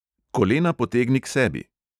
Kolena potegni k sebi!